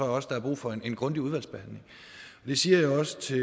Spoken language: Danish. også der er brug for en grundig udvalgsbehandling og det siger jeg også til